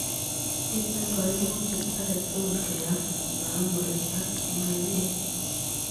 Miten kaimutiet age tugul keam mahamuri ak maiyek